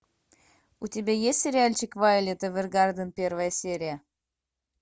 у тебя есть сериальчик вайолет эвергарден первая серия